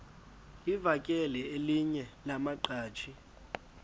livakele elinye lamaqhaji